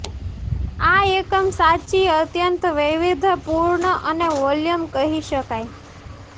આ એકમ સાચી અત્યંત વૈવિધ્યપુર્ણ અને વોલ્યુમ કહી શકાય